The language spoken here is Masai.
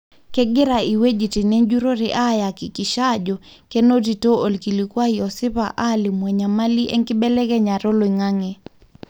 kengira iweujitin enjurore ayakikisha ajo kinotito olkilikuai osipa olimu enyamali enkibelekenyata oloingange.